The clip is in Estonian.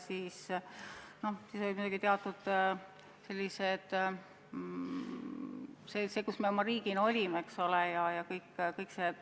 Siis oli muidugi olukord, kus me riigina olime, hoopis teine.